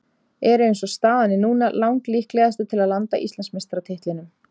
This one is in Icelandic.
Eru eins og staðan er núna lang líklegastir til að landa Íslandsmeistaratitlinum.